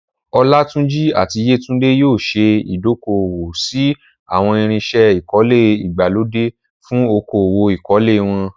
Olatunji àti Yetunde yóò ṣe ìdókòwò sí àwọn irinṣẹ́ ìkọ́lé ìgbàlódé fún okòwò ìkọ́lé wọn.